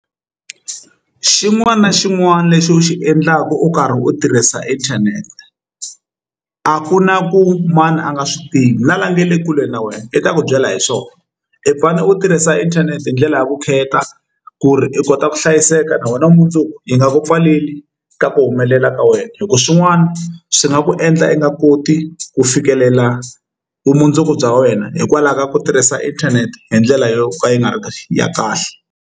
U xin'wana na xin'wana lexi u xi endlaka u karhi u tirhisa inthanete a ku na ku mani a nga swi tivi na lava nga le kule na wena i ta ku byela hi swona i fane u tirhisa inthanete hi ndlela ya vukheta ku ri u kota ku hlayiseka na wena vumundzuku yi nga ku pfaleli ka ku humelela ka wena hi ku swin'wana swi nga ku endla i nga koti ku fikelela vumundzuku bya wena hikwalaho ka ku tirhisa inthanete hi ndlela yo ka yi nga ri ya kahle.